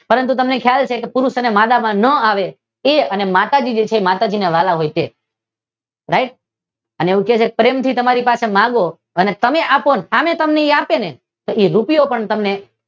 પરંતુ તમને ખ્યાલ છે પુરુષ અને માદા માં ના આવે તે અને માતાજી છે તેને વ્હાલા છે. રાઇટ? અને એવું કહે છે કે પ્રેમ થી તેની પાસે માંગો અને સામે તમને આપે ને એક રૂપિયો પણ તમને